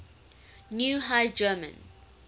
new high german